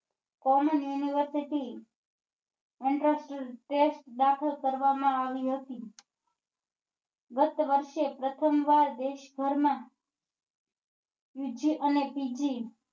Common university દાખલ કરવા માં આવી હતી ગત વર્ષે પ્રથમ વાર દેશભર માં UGE અને PG